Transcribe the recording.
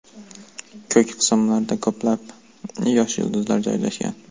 Ko‘k qismlarda ko‘plab yosh yulduzlar joylashgan.